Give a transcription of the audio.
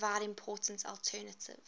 provide important alternative